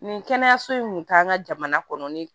Nin kɛnɛyaso in kun taa an ka jamana kɔnɔ ni